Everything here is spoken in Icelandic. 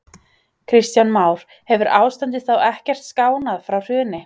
Kristján Már: Hefur ástandið þá ekkert skánað frá hruni?